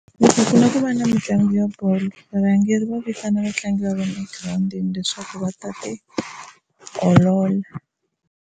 Loko ku la ku va na mitlangu ya bolo varhangeri va vitana vatlangi va vona egirawundini leswaku va ta tiolola.